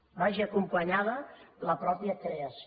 hi vagi acompanyada la mateixa creació